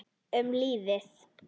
Um lífið.